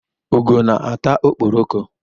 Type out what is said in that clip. Ugo na-ata okporoko.